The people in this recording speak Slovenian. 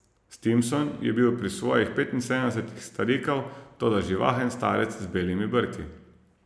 Stimson je bil pri svojih petinsedemdesetih starikav, toda živahen starec z belimi brki.